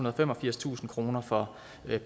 og femogfirstusind kroner for